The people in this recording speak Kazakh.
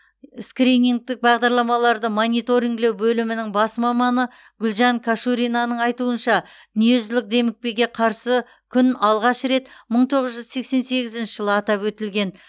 скринингтік бағдарламаларды мониторингілеу бөлімінің бас маманы гүлжан конуршина айтуынша дүниежүзілік демікпеге қарсы күн алғаш рет мың тоғыз жүз сексен сегізінші жылы атап өтілген